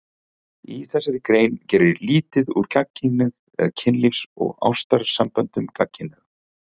Ekkert í þessari grein gerir lítið úr gagnkynhneigð eða kynlífs- og ástarsamböndum gagnkynhneigðra.